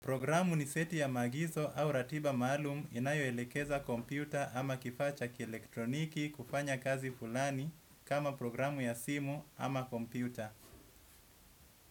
Programu ni seti ya maagizo au ratiba maalumu inayoelekeza kompyuta ama kifaa cha kielektroniki kufanya kazi fulani kama programu ya simu ama kompyuta.